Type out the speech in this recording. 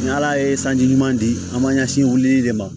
Ni ala ye sanji ɲuman di an m'an ɲɛsin wulili de ma